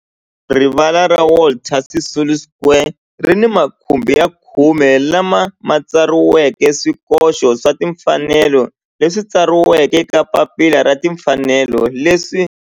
Rivala ra Walter Sisulu Square ri ni makhumbi ya khume lawa ma tsariweke swikoxo swa timfanelo leswi tsariweke eka papila ra timfanelo leswi